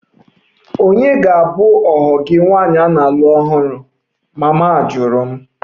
Ònye ga-abụ ohu gị nwaanyị na-alụ ọhụrụ? Mama jụrụ m